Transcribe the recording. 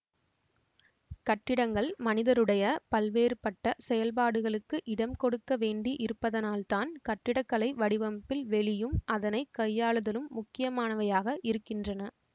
கட்டிடங்கள் மனிதருடைய பல்வேறுபட்ட செயல்பாடுகளுக்கு இடம்கொடுக்க வேண்டி இருப்பதனால்தான் கட்டிடக்கலை வடிவமைப்பில் வெளியும் அதனை கையாளுதலும் முக்கியமானவையாக இருக்கின்றன